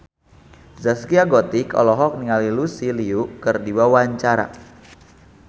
Zaskia Gotik olohok ningali Lucy Liu keur diwawancara